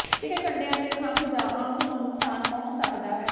ਤਿੱਖੇ ਕੰਢਿਆਂ ਦੇ ਖੰਭ ਜਾਂ ਅੰਗ ਨੂੰ ਨੁਕਸਾਨ ਪਹੁੰਚ ਸਕਦਾ ਹੈ